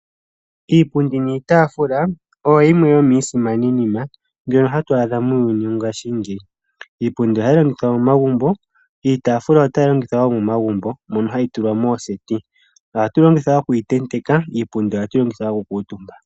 Iipundi niitaafula oyo yimwe yomiisimaninima mbyoka ha tu adha moongasshi ngeyi. Iipundi oha yi longithwa momagumbo, iitafula nayo oha yilongithwa wo momagumbo moka ha yi tulwa mooseti, oha tu yilongitha oku tenteka iipundi oha tu yilongitha oku kuutumba.